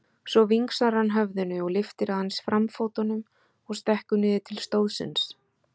Svo vingsar hann höfðinu og lyftir aðeins framfótunum og stekkur niður til stóðsins.